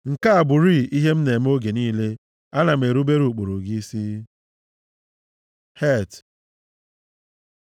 Nke a bụrịị ihe m na-eme oge niile: ana m erubere ụkpụrụ gị isi. ח Het